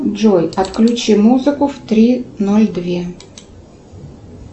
джой отключи музыку в три ноль две